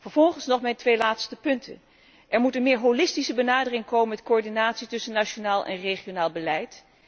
Vervolgens nog mijn twee laatste punten. Er moet een meer holistische benadering komen met coördinatie tussen nationaal en regionaal beleid.